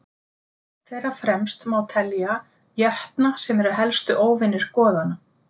Þeirra fremst má telja jötna sem eru helstu óvinir goðanna.